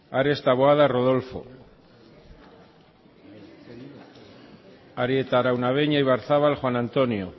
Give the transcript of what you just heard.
ares taboada rodolfo arieta araunabeña ibarzabal juan antonio